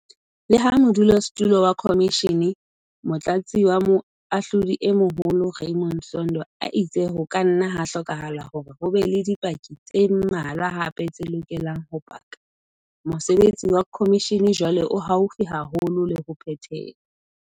Leha modulasetulo wa khomishene, Motlatsi wa Moahlodi e Moholo Raymond Zondo a itse ho ka nna ha hlokahala hore ho be le dipaki tse mmalwa hape tse lokelang ho paka, mosebetsi wa khomishene jwale o haufi haholo le ho phethelwa.